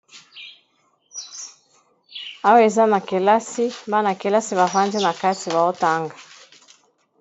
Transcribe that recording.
Awa eza na kelasi, bana kelasi bavandi na kati bazotanga.